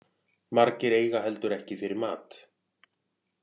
Margir eiga heldur ekki fyrir mat